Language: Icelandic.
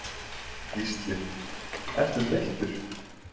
Gísli: Ertu þreyttur?